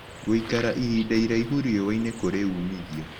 Gũĩkara ĩhĩnda ĩraĩhũ rĩũa-ĩnĩ kũrĩ ũmĩthĩo